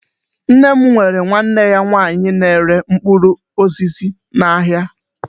Nne m nwere nwanne ya nwaanyị na-ere mkpụrụ n'ahịa.